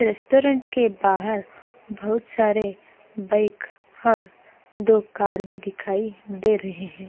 Restaurant के बाहार बहुत सारे बाइख हौर दो कार भी दिखाई दे रहे है।